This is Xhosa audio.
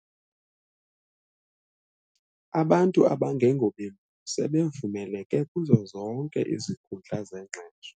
Abantu abangengobelungu sebevumeleke kuzo zonke izikuhundla zengqesho.